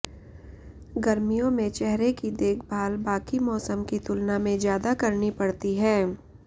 गर्मियों में चेहरे की देखभाल बाकी मौसम की तुलना में ज्यादा करनी पड़ती है